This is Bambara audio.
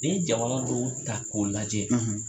N'i ye jamana dɔnw ta k'u lajɛ